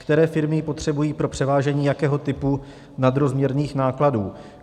Které firmy ji potřebují pro převážení jakého typu nadrozměrných nákladů?